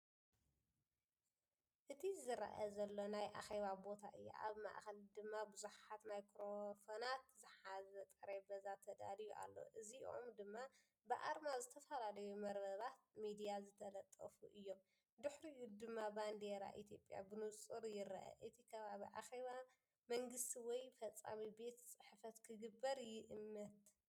እቲ ዝረአ ዘለዎ ናይ ኣኼባ ቦታ እዩ። ኣብ ማእከል ድማ ብዙሓት ማይክሮፎናትን ዝሓዘ ጠረጴዛ ተዳልዩ ኣሎ፣ እዚኦም ድማ ብኣርማ ዝተፈላለዩ መርበባት ሚድያዝተለጠፉ እዮም። ብድሕሪኡ ድማ ባንዴራ ኢትዮጵያ ብንጹር ይርአ። እቲ ከባቢ ኣኼባ መንግስቲ ወይ ፈጻሚ ቤት ጽሕፈት ክግበር ይእምት።